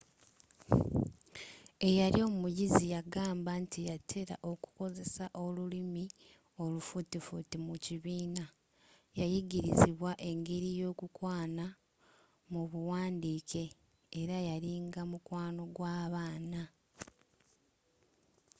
eyali omuyizi yagamba nti yatera okukozesa olulimi olufuutifuuti mu kibiina yayigirizibwa engeri z'okukwana mu buwandiike era yalinga mukwano gw'abaana